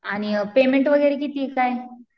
आणि पेमेंट वगैरे कितीये काय?